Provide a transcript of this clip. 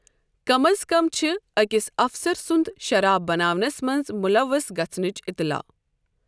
کم از کم چھُ أکِس اَفسَر سُنٛد شراب بناونَس منٛز ملوث گژھَنٕچ اطلاع۔